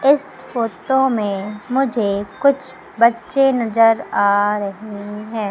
इस फोटो में मुझे कुछ बच्चे नजर आ रहें हैं।